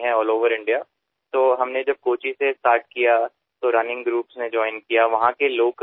जेव्हा आम्ही कोच्चीपासून सुरुवात केली तेव्हा धावणारे गटही आमच्यासोबत आले